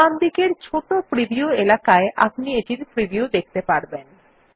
ডানদিকের ছোট প্রিভিউ এলাকায় আপনি এটির প্রিভিউ দেখতে পারবেন